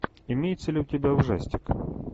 имеется ли у тебя ужастик